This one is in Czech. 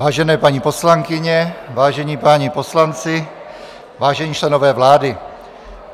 Vážené paní poslankyně, vážení páni poslanci, vážení členové vlády,